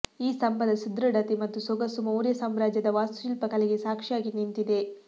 ಈ ಸ್ಥಂಭದ ಸುದೃಢತೆ ಮತ್ತು ಸೊಗಸು ಮೌರ್ಯ ಸಾಮ್ರಾಜ್ಯದ ವಾಸ್ತುಶಿಲ್ಪ ಕಲೆಗೆ ಸಾಕ್ಷಿಯಾಗಿ ನಿಂತಿದೆ